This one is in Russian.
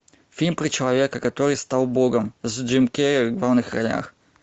фильм про человека который стал богом с джим керри в главных ролях